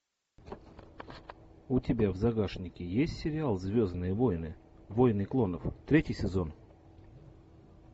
у тебя в загашнике есть сериал звездные войны войны клонов третий сезон